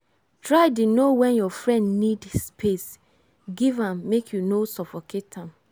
try dey know wen your friend need space give am make you no suffocate am.